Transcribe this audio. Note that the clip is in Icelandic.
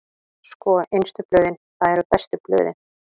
Sko, innstu blöðin, það eru bestu blöðin.